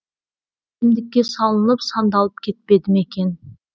ішімдікке салынып сандалып кетпеді ме екен